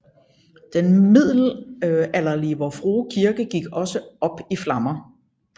Den middelalderlige Vor Frue Kirke gik også op i flammer